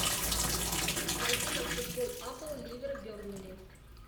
найди нам футбол апл ливер бернли